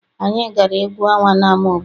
Anyị gara egwu ọnwa n'ama obodo.